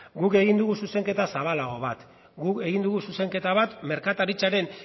guk egin dugu zuzenketa zabalago bat guk egin dugu zuzenketa bat merkataritzaren